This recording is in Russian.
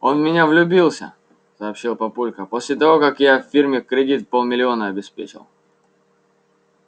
он в меня влюбился сообщил папулька после того как я его фирме кредит в полмиллиона обеспечил